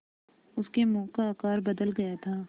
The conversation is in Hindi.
उसके मुँह का आकार बदल गया था